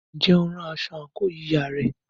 Ǹjẹ́ o rán aṣọ àǹkóò yíya rẹ?